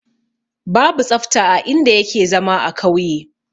Babu tsafta a in da yake zama a kauye